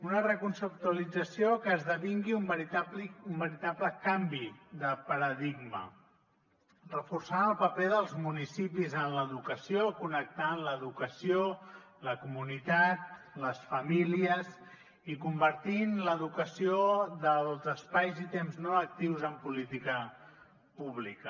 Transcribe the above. una reconceptualització que esdevingui un veritable canvi de paradigma que reforci el paper dels municipis en l’educació connecti l’educació la comunitat les famílies i que converteixi l’educació dels espais i temps no actius en política pública